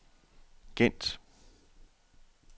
Gent